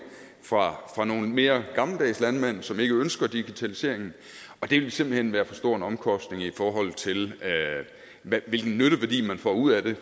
fra nogle mere gammeldags landmænd som ikke ønsker digitaliseringen og det ville simpelt hen være for stor en omkostning i forhold til hvilken nytteværdi man får ud af det